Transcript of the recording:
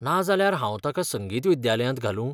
नाजाल्यार हांव ताका संगीत विद्यालयांत घालूं?